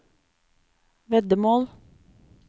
veddemål